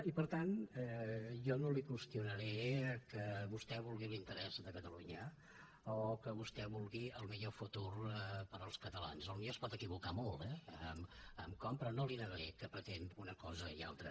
i per tant jo no li qüestionaré que vostè vulgui l’interès de catalunya o que vostè vulgui el millor futur per als catalans potser es pot equivocar molt eh en com però no li negaré que pretén una cosa i altra